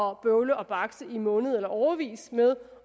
at bøvle og bakse i måneds eller årevis med